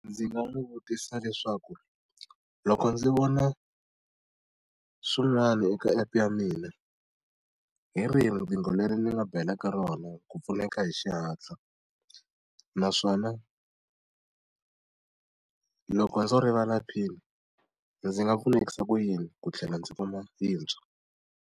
Ndzi nga n'wi vutisa leswaku loko ndzi vona swin'wana eka app-e ya mina, hi rihi riqingho leri ni nga belaka rona ku pfuneka hi xihatla? Naswona loko ndzo rivala PIN-i ndzi nga pfunekisa ku yini ku tlhela ndzi kuma yintshwa?